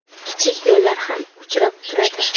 Kichik ko‘llar ham uchrab turadi.